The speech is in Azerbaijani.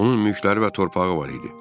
Onun mülkləri və torpağı var idi.